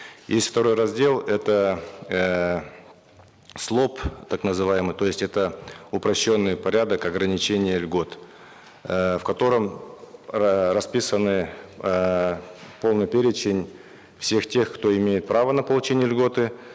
есть второй раздел это эээ слоп так называемый то есть это упрощенный порядок ограничения льгот э в котором расписаны эээ полный перечень всех тех кто имеет право на получение льготы